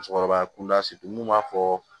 Musokɔrɔba kunda mun b'a fɔ